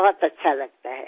बहुत अच्छा लगता है